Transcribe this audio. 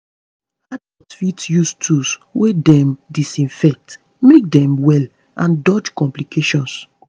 adults fit use tools wey dem disinfect make dem well and dodge complications